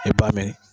I b'a mɛn